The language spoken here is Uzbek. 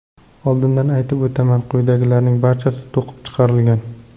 Oldindan aytib o‘taman, quyidagilarning barchasi to‘qib chiqarilgan.